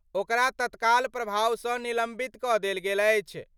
ओकरा तत्काल प्रभाव सं निलंबित क' देल गेल अछि।